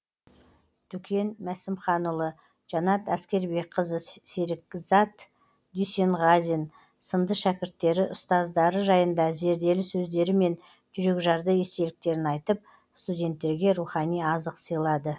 дүкен мәсімханұлы жанат әскербекқызы серікат дүйсенғазин сынды шәкірттері ұстаздары жайында зерделі сөздері мен жүрекжарды естеліктерін айтып студенттерге рухани азық сыйлады